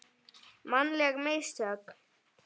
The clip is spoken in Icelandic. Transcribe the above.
Mannleg mistök?